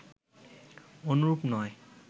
অনুরূপ নয়